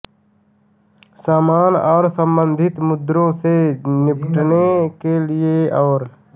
समान और संबंधित मुद्दों से निपटने के लिए और